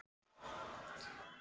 Berghildur Erla: Er mikið um þetta?